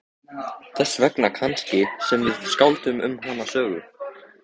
Þess vegna kannski sem við skálduðum um hana sögu.